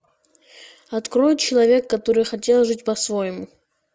открой человек который хотел жить по своему